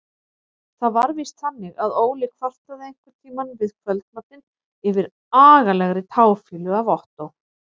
Það var víst þannig að Óli kvartaði einhverntíma við kvöldmatinn yfir agalegri táfýlu af Ottó.